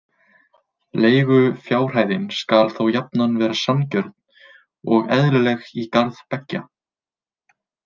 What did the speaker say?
Leigufjárhæðin skal þó jafnan vera sanngjörn og eðlileg í garð beggja.